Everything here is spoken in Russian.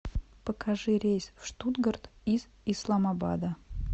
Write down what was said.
покажи рейс в штутгарт из исламабада